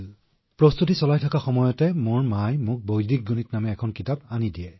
গতিকে মোৰ মায়ে মোক বৈদিক গণিত নামৰ এখন কিতাপ দিছিল